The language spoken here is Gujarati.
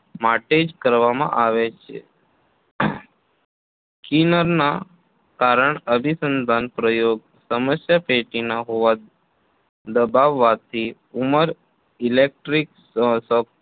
માટે જ કરવામાં આવે છે Skinner ના કારણ અભિસંધાનના પ્રયોગમાં સમસ્યાપેટીના હોવા દબાવવાથી ઉમર Electric શો